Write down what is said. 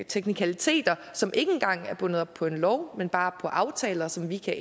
teknikaliteter som ikke engang er bundet op på en lov men bare på aftaler som vi kan